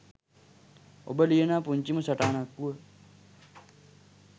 ඔබ ලියනා පුංචිම සටහනක වුව